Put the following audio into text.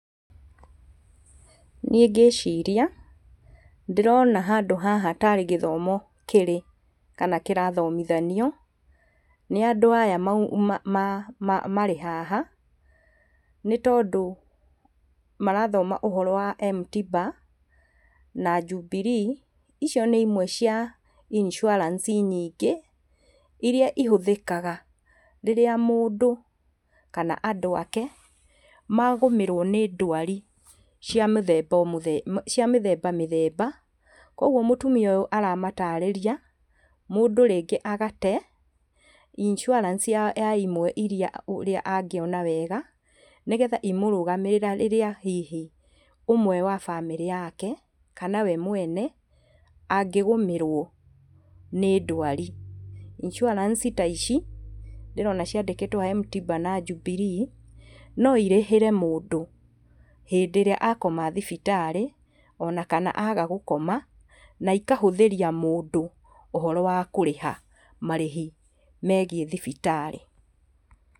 Niĩ ngĩciria ndĩrona handũ haha tarĩ gĩthomo kĩrĩ kana kĩrathomithanio nĩ andũ aya marĩ haha, nĩtondũ marathoma ũhoro wa M-tiba na Jubilee, icio nĩ imwe cia Insuarance nyingĩ iria ihũthĩkaga rĩrĩa mũndũ kana andũ ake magũmĩrwo nĩ ndwari cia mũthemba o cia mĩthemba mĩthemba, koguo mũtumia ũyũ aramatarĩria mũndũ rĩngĩ agate Insuarance ya imwe iria ũrĩa angĩona wega, nĩgetha imũrũgamĩrĩre rĩrĩa hihi ũmwe wa bamĩrĩ yake kana we mwene angĩgũmĩrwo nĩ ndwari. Isuarance ta ici ndĩrona ciandĩkĩtwo haha M-tiba na Jubilee, no irĩhĩre mũndũ hĩndĩ ĩrĩa akoma thibitarĩ ona kana aga gũkoma, na ikahũthĩria mũndũ ũhoro wa kũrĩha marĩhi megiĩ thibitarĩ.